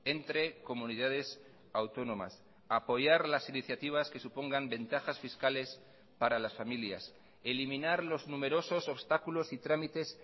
entre comunidades autónomas apoyar las iniciativas que supongan ventajas fiscales para las familias eliminar los numerosos obstáculos y trámites